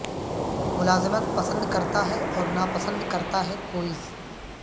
ملازمت پسند کرتا ہے اور ناپسند کرتا ہے کوئز